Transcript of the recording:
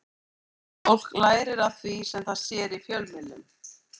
Ungt fólk lærir af því sem það sér í fjölmiðlum.